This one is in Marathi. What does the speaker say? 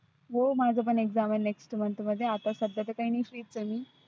हो माझ पण exam आहे next month आता सध्या तर काही नाही free चं आहे मी.